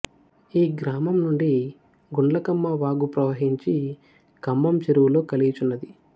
ఈ గ్రామం నుండి గుండ్లకమ్మ వాగు ప్రవహించి కంభం చెరువులో కలియుచున్నది